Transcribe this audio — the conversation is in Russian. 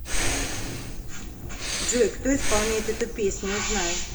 джой кто исполняет эту песню узнай